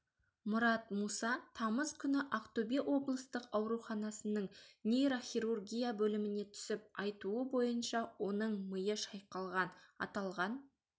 мұрат муса тамыз күні ақтөбе облыстық ауруханасының нейрохирургия бөліміне түсіп айтуы бойынша оның миы шайқалған аталған